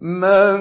مَن